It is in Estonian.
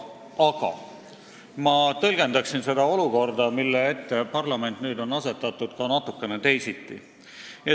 Aga ma tõlgendan seda olukorda, mille ette parlament on nüüd asetatud, ka natukene teisiti.